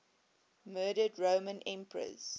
murdered roman empresses